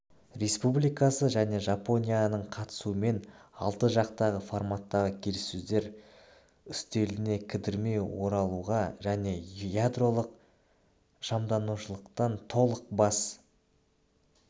республикасы және жапонияның қатысуымен алты жақты форматтағы келіссөздер үстеліне кідірмей оралуға және ядролық шамданушылықтантолық бас